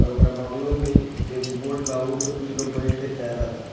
और ओकरा बगलो में एगो बोट बा अउपे कुछ लोग बइठ के तैरे ता।